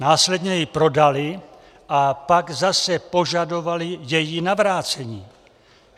Následně ji prodaly a pak zase požadovaly její navrácení.